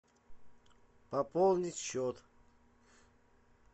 пополнить счет